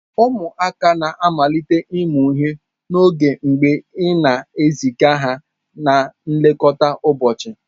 Ụmụaka na-amalite ịmụ ihe n'oge mgbe ị na-eziga ha na nlekọta ụbọchị.